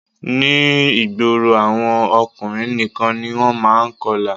Ní ìgboro àwọn ọkùnrin nìkan ni wọ́n má a n kọlà